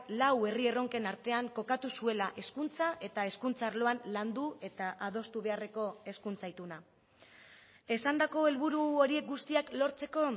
lau herri erronken artean kokatu zuela hezkuntza eta hezkuntza arloan landu eta adostu beharreko hezkuntza ituna esandako helburu horiek guztiak lortzeko